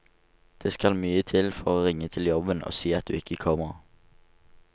Det skal mye til for å ringe til jobben og si at du ikke kommer.